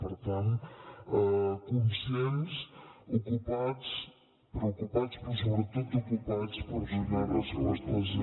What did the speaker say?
per tant conscients ocupats preocupats però sobretot ocupats per donar respostes a